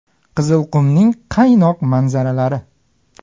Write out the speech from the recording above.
Qizilqumning qaynoq manzaralari .